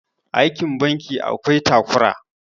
aikin banki akwai takura